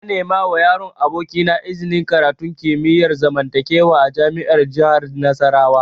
Na nemawa yaron abokina iznin karatun kimiyar zamantakewa a jami'ar jihar Nasarawa